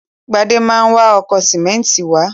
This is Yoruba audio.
Gbadé ma wa ọkọ̀ sìmẹ́ńtì wá.